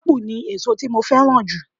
Ápù ni èso tí mo fẹ́ràn jù